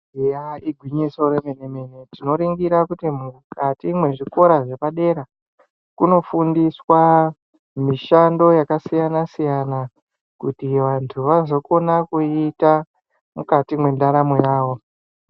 Eya igwinyiso remene mene tinoringira kuti mukati mwezvikora zvepadera kunofundiswa mishando yakasiyana siyana kuti vantu vazokona kuiita mukati mwendaramo yawo.